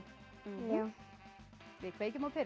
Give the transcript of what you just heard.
já við kveikjum á perunni